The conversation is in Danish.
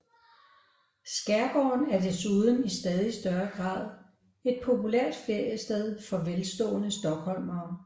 Skærgården er desuden i stadig større grad et populært feriested for velstående stockholmere